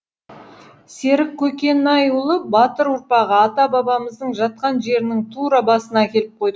серік көкенайұлы батыр ұрпағы ата бабамыздың жатқан жерінің тура басына әкеліп қойдық